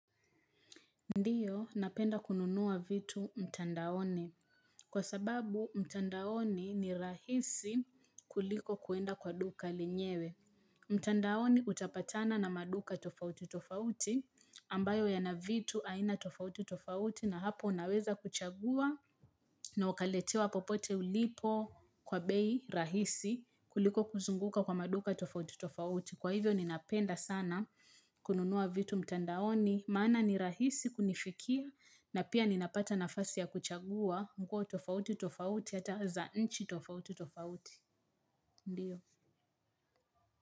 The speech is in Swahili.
Ndiyo napenda kununua vitu mtandaoni kwa sababu mtandaoni ni rahisi kuliko kuenda kwa duka lenyewe mtandaoni utapatana na maduka tofauti tofauti ambayo yana vitu aina tofauti tofauti na hapo unaweza kuchagua na ukaletewa popote ulipo kwa bei rahisi kuliko kuzunguka kwa maduka tofauti tofauti kwa hivyo ninapenda sana kununua vitu mtandaoni Maana ni rahisi kunifikia na pia ninapata nafasi ya kuchagua Mkua tofauti tofauti ata za nchi tofauti tofauti Ndiyo.